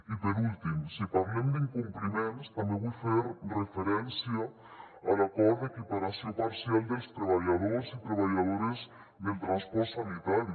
i per últim si parlem d’incompliments també vull fer referència a l’acord d’equiparació parcial dels treballadors i treballadores del transport sanitari